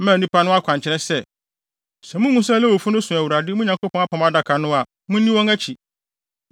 maa nnipa no akwankyerɛ sɛ, “Sɛ muhu sɛ Lewifo asɔfo no so Awurade, mo Nyankopɔn Apam Adaka no a, munni wɔn akyi.